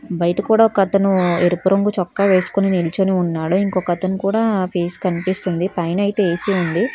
బయట కూడా ఒక అతను ఎరుపు రంగు చొక్కా వేసుకొని నిల్చొని ఉన్నాడు ఇంకొకతను కూడా ఫేస్ కనిపిస్తుంది పైన అయితే ఎ_సి ఉంది.